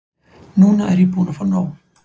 Núna er ég búin að fá nóg.